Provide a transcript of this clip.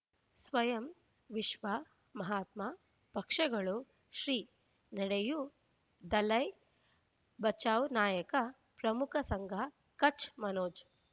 ಸ್ವಯಂ ವಿಶ್ವ ಮಹಾತ್ಮ ಪಕ್ಷಗಳು ಶ್ರೀ ನಡೆಯೂ ದಲೈ ಬಚೌ ನಾಯಕ ಪ್ರಮುಖ ಸಂಘ ಕಚ್ ಮನೋಜ್